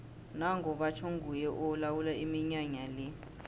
nango batjho nguye olawula iminyanya le